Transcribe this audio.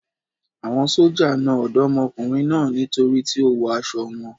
Àwọn sójà na Ọ̀dọ́mọkùnrin náà nítorí tí ó wọ aṣọ wọn.